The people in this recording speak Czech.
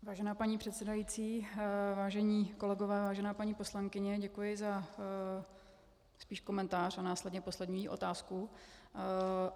Vážená paní předsedající, vážení kolegové, vážená paní poslankyně, děkuji za spíš komentář a následně poslední otázku.